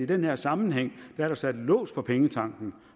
den her sammenhæng er sat en lås på pengetanken